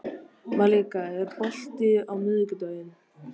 Malika, er bolti á miðvikudaginn?